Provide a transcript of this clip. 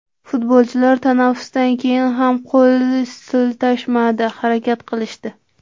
Futbolchilar tanaffusdan keyin ham qo‘l siltashmadi, harakat qilishdi.